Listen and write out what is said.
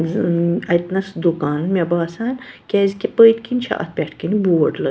.ز ٲم اَتہِ نس دُکان مےٚ باسان کیٛازِ کہ پٔتۍ کِنۍ چُھ اَتھ پٮ۪ٹھہٕ کنہِ بورڈ لٲ